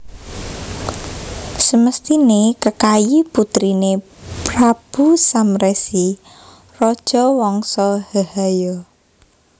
Semesthiné Kekayi putriné Prabu Samresi raja Wangsa Hehaya